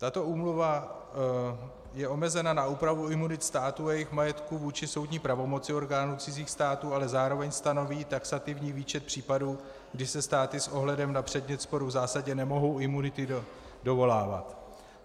Tato úmluva je omezena na úpravu imunit států a jejich majetků vůči soudní pravomoci orgánů cizích států, ale zároveň stanoví taxativní výčet případů, kdy se státy s ohledem na předmět sporu v zásadě nemohou imunity dovolávat.